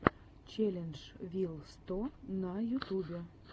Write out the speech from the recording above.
челлендж вил сто на ютубе